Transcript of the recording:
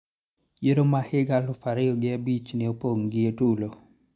Yiero ma higa aluf ariyo gi abich ne opong' gi tulo.